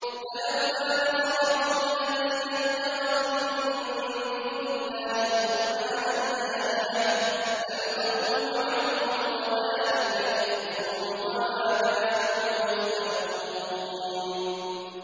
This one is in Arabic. فَلَوْلَا نَصَرَهُمُ الَّذِينَ اتَّخَذُوا مِن دُونِ اللَّهِ قُرْبَانًا آلِهَةً ۖ بَلْ ضَلُّوا عَنْهُمْ ۚ وَذَٰلِكَ إِفْكُهُمْ وَمَا كَانُوا يَفْتَرُونَ